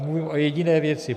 Mluvím o jediné věci.